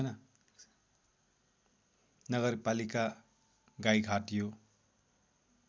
नगरपालिका गाईघाट यो